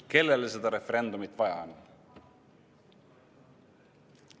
Kellele seda referendumit vaja on?